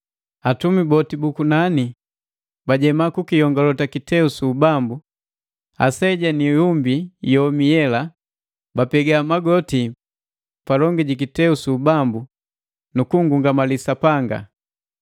Atumi boti bu kunani bajema kukiyongolota kiteu su ubambu, aseja na ihumbi yomi yela. Bapega magoti palongi ji kiteu su ubambu nu kunngungamali Sapanga,